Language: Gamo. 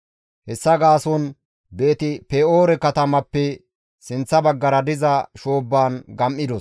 Hessa gaason Beeti-Pe7oore katamappe sinththa baggara diza shoobban gam7idos.